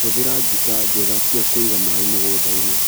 Hũthĩra njĩra njega cia kũiga maĩ mũgundainĩ.